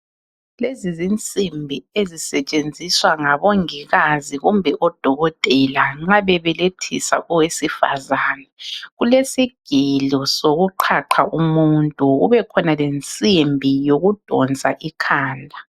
Lezi zinsimbi ezisetshenziswa ngabongikazi kumbe odokotela nxa bebelethisa owesifazane, kelesigelo sokuqhaqha umuntu kubekhona lensimbi yokudonsa ikhanda.